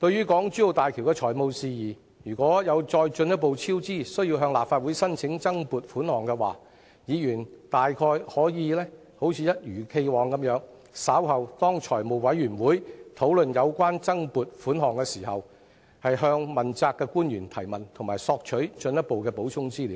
港珠澳大橋工程如再進一步超支，政府因而需要向立法會申請增撥款項的話，議員可以一如既往，在財務委員會稍後討論有關增撥款項申請時，向問責官員提問及索取進一步的補充資料。